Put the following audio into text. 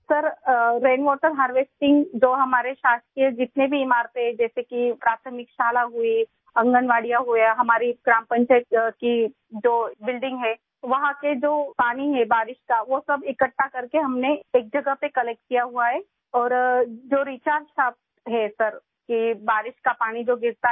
سر ، ہماری حکومت کی تمام عمارتیں جیسے پرائمری اسکول، آنگن واڑی، ہماری گرام پنچایت کی عمارت، وہاں کا سارا بارش کا پانی، ہم نے اسے ایک جگہ جمع کیا اور ریچارج شافٹ، سر ، یہ ہے کہ بارش کا پانی جو گرتا ہے